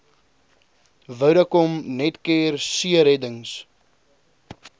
vodacom netcare seereddings